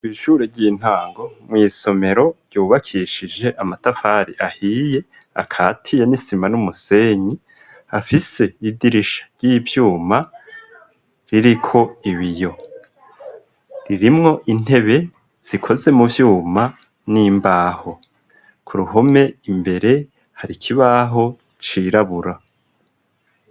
Ishure ry'intango mw'isomero ryubakishije amatafari ahiye akati ya nisima n'umusenyi afise idirisha ry'ibyuma ririko ibiyo ririmwo intebe zikoze mu vyuma n'imbaho ku ruhome imbere hari kibaho cirabura.